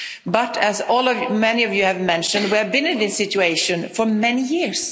But, as many of you have mentioned, we have been in this situation for many years.